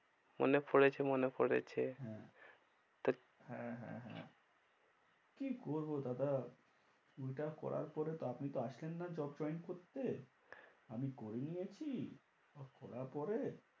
মনে পরেছে, মনে পরেছে। হ্যাঁ হ্যাঁ, হ্যাঁ, হ্যাঁ। কি করবো দাদা ওইটা করার পরে তো আপনি তো আসলেন না ob join করতে। আমি করে নিয়েছি আর করার পরে,